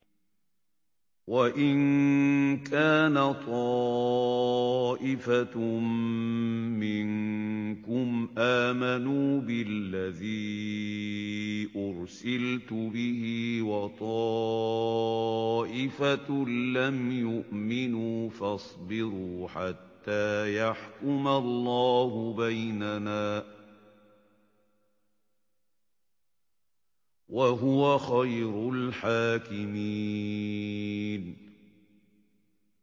وَإِن كَانَ طَائِفَةٌ مِّنكُمْ آمَنُوا بِالَّذِي أُرْسِلْتُ بِهِ وَطَائِفَةٌ لَّمْ يُؤْمِنُوا فَاصْبِرُوا حَتَّىٰ يَحْكُمَ اللَّهُ بَيْنَنَا ۚ وَهُوَ خَيْرُ الْحَاكِمِينَ